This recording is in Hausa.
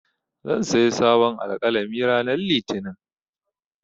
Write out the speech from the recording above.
Zan sayi sabon alƙalami ranar Litinin.